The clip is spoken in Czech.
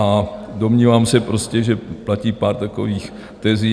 A domnívám se prostě, že platí pár takových tezí.